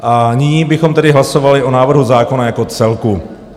A nyní bychom tedy hlasovali o návrhu zákona jako celku.